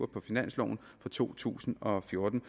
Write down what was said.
på finansloven for to tusind og fjorten